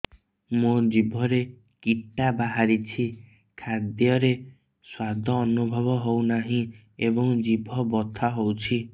ମୋ ଜିଭରେ କିଟା ବାହାରିଛି ଖାଦ୍ଯୟରେ ସ୍ୱାଦ ଅନୁଭବ ହଉନାହିଁ ଏବଂ ଜିଭ ବଥା ହଉଛି